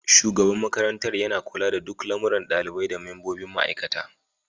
Shugaban makarantar yana kula da duk lamuran ɗalibai da membobin ma'aikata.